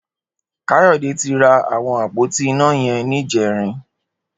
Kayode ti rá awọn ápótí iná yẹn nijẹrin